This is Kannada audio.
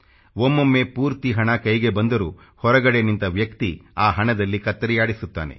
ಒಮ್ಮೊಮ್ಮೆ ಪೂರ್ತಿ ಹಣ ಕೈಗೆ ಬಂದರೂ ಹೊರಗಡೆ ನಿಂತ ವ್ಯಕ್ತಿ ಆ ಹಣದಲ್ಲಿ ಕತ್ತರಿಯಾಡಿಸುತ್ತಾನೆ